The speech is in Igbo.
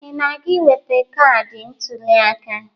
Ị na-aga iweta kaadị ntụliaka?